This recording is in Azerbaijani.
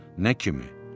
Nə kimi?